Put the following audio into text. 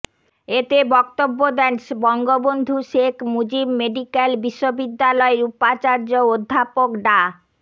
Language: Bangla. এতে বক্তব্য দেন বঙ্গবন্ধু শেখ মুজিব মেডিক্যাল বিশ্ববিদ্যালয়ের উপাচার্য অধ্যাপক ডা